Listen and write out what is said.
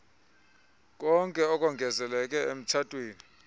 konke okongezeleke emtshatweni